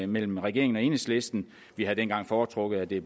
mellem regeringen og enhedslisten vi havde dengang foretrukket at det